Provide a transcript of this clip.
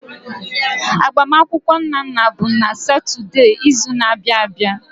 Agbamakwụkwọ Nnanna bụ n'Satọde izu na-abịa abịa.